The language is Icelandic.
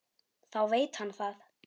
Þá veit hann það.